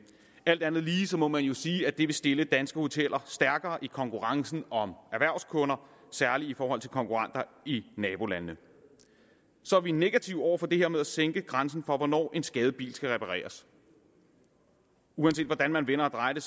alt andet lige må man sige at det vil stille danske hoteller stærkere i konkurrencen om erhvervskunder særlig i forhold til konkurrenter i nabolandene vi er negative over for det her med at sænke grænsen for hvornår en skadet bil skal repareres uanset hvordan man vender og drejer det